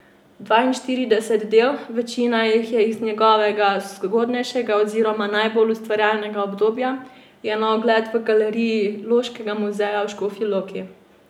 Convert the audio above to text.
Dvainštirideset del, večina jih je iz njegovega zgodnejšega oziroma najbolj ustvarjalnega obdobja, je na ogled v galeriji Loškega muzeja v Škofji Loki.